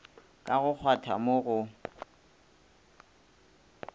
ka go kgwatha mo go